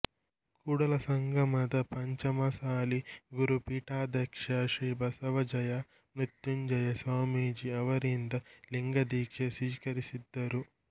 ಕೂಡಲಸಂಗಮದ ಪಂಚಮಸಾಲಿ ಗುರುಪೀಠಾಧ್ಯಕ್ಷ ಶ್ರೀ ಬಸವ ಜಯ ಮೃತ್ಯುಂಜಯ ಸ್ವಾಮೀಜಿ ಅವರಿಂದ ಲಿಂಗದೀಕ್ಷೆ ಸ್ವೀಕರಿಸಿದ್ದರು